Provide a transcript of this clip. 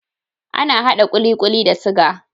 Ana hada kulikuli kulikuli da siga